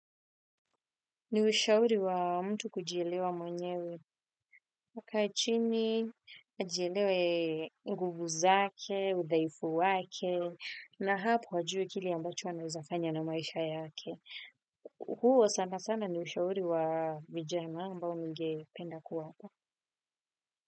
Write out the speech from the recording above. Ni ushauri wa mtu kujilewa mwenyewe wakae chini, ajielewe nguvu zake, udhaifu wake, na hapo wajue kile ambacho anaeza fanya na maisha yake. Huo sana sana ni ushauri wa vijana ambao ningependa kuwapa.